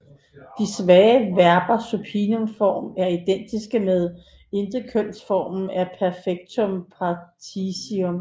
De svage verbers supinumform er identisk med intetkønsformen af perfektum participium